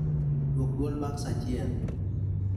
Duok duol bang' sa achiel